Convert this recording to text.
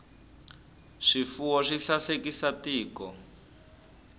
swifuwo swi sasekisa tiko